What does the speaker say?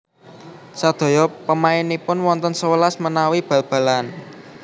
Sadaya pemainipun wonten sewelas menawi bal balan